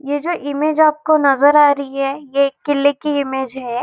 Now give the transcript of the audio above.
ये जो इमेज आपको नज़र आ रही है ये किले की इमेज है।